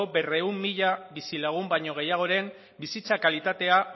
berrehun mila bizilagun baino gehiagoren bizitza kalitatea